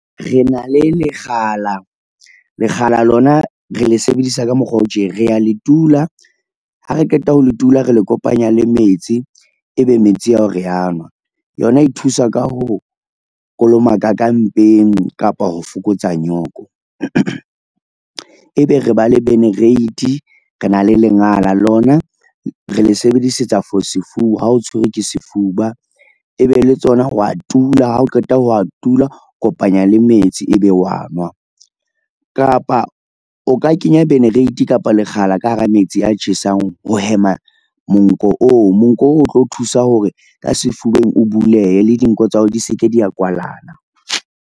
Re na le lekgala. Lekgala lona re le sebedisa ka mokgwa o tje, re ya le tula ha re qeta ho le tula, re le kopanya le metsi, ebe metsi ao re a nwa yona e thusa ka ho kolomaka ka mpeng kapa ho fokotsa nyoko. E be re ba le , re na le lengala lona re le sebedisetsa ha o tshwerwe ke sefuba, e be le tsona wa tula, ha o qeta ho a tula, kopanya le metsi ebe wa nwa, kapa o ka kenya kapa lekgala ka hara metsi a tjhesang ho hema monko oo. Monko o tlo thusa hore ka sefubeng o bulehe le dinoko tsa hao di se ke dia kwalana.